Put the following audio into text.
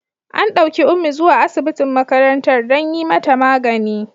An ɗauki Ummi zuwa asibitin makarantar don yi mata magani.